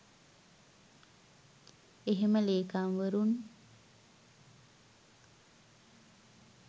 එහෙම ලේකම්වරුන්